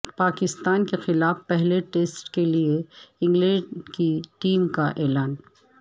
پاکستان کے خلاف پہلے ٹیسٹ کے لیے انگلینڈ کی ٹیم کا اعلان